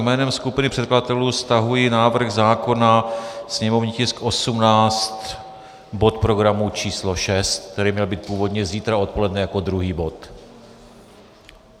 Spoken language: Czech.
Jménem skupiny předkladatelů stahuji návrh zákona, sněmovní tisk 18, bod programu číslo 6, který měl být původně zítra odpoledne jako druhý bod.